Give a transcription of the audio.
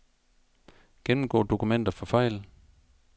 Gennemgå dokumenter for fejl.